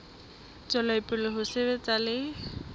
tswela pele ho sebetsa le